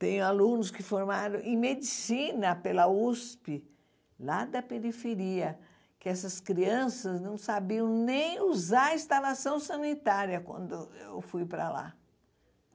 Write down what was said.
Tenho alunos que formaram em medicina pela USP, lá da periferia, que essas crianças não sabiam nem usar a instalação sanitária quando eu fui para lá.